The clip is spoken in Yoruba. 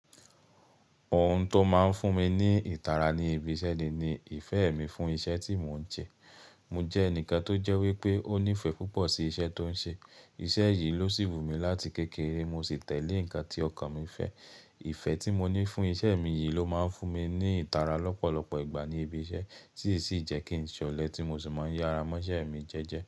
Ohun tó máa ń fún mi ní ìtara ní ibi iṣẹ́ ni ìfẹ́ mi fún iṣẹ́ tí mò ń ṣe. Mo jẹ́ ẹnìkan tó jẹ́ wípé ó nífẹ̀ẹ́ púpọ̀ sí iṣẹ́ tó ń ṣe. Iṣẹ́ yìí ló ṣí wú mi láti kékeré mo sì tẹ̀lé nǹkan tí ọkàn mi fẹ́. Ìfẹ́ tí mo ní fún iṣẹ́ mi yìí ló máa ń fún mi ní ìtara lọ́pọ̀lọpọ̀ ìgbà ní ibi iṣẹ́, tí sì ń jẹ́ kí n ṣọ̀lẹ tí mo sì máa ń yára mọ́ iṣẹ́ mi jẹ́jẹ́